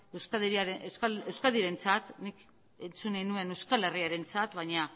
euskadirentzat nik entzun nahi nuen euskal herriarentzat baina